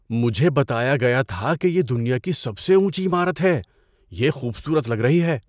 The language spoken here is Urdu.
مجھے بتایا گیا تھا کہ یہ دنیا کی سب سے اونچی عمارت ہے۔ یہ خوبصورت لگ رہی ہے!